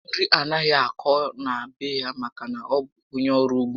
Nri anaghị akọ na be ya maka na ọ bụ ónyé ọrụ ugbo